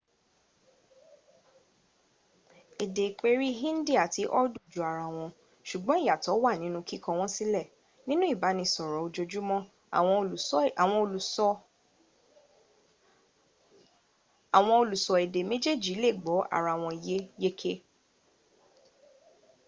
èdè ìperí hindi àti urdu jọ ara wọn ṣùgbọn ìyàtọ̀ wà nínú kíkọ wọn sílẹ̀; nínú ìbánisọ̀rọ̀ ojoojúmọ́ àwọn olùsọ̀ èdè méjèèjì lè gbọ́ ara wọn yé yéké